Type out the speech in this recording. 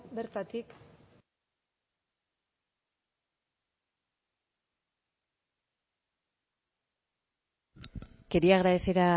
bertatik quería agradecer